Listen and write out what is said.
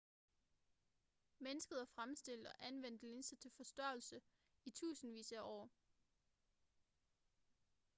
mennesket har fremstillet og anvendt linser til forstørrelse i tusindvis af år